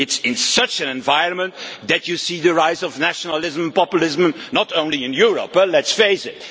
It is in such an environment that you see the rise of nationalism and populism, not only in Europe, let us face it.